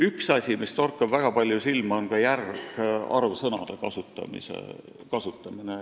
Üks asi, mis torkab väga palju silma, on ka järgarvsõnade lihtsustatud kasutamine.